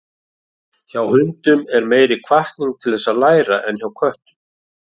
Hjá hundum er meiri hvatning til þess að læra en hjá köttum.